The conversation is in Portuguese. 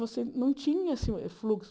Você não tinha assim fluxo.